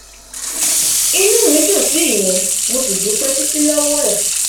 inú mi dùn sí ìyẹn mo sì dúpẹ títí lọwọ ẹ